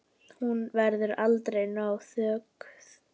Hún verður aldrei nóg þökkuð.